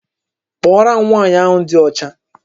Kpọọrọ m nwaanyị ahụ dị ọcha!